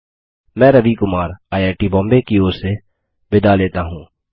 मैं रवि कुमार आईआईटीबॉम्बे की ओर से विदा लेता हूँ